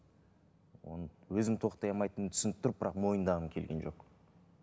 оны өзім тоқтай алмайтынымды түсініп тұрып бірақ мойындағым келген жоқ